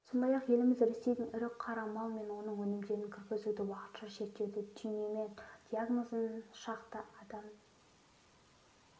сондай-ақ еліміз ресейден ірі қара мал мен оның өнімдерін кіргізуді уақытша шектеді түйнеме диагнозымен шақты адам